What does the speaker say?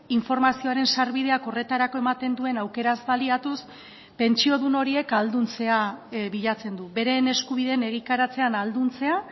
informazioaren sarbideak horretarako ematen duen aukeraz baliatuz pentsiodun horiek ahalduntzea bilatzen du beren eskubideen egikaritzean ahalduntzea